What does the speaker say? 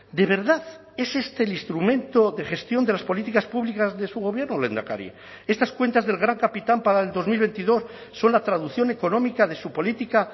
de verdad es este el instrumento de gestión de las políticas públicas de su gobierno lehendakari estas cuentas del gran capitán para el dos mil veintidós son la traducción económica de su política